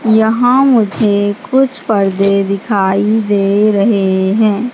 यहां मुझे कुछ पर्दे दिखाई दे रहे हैं।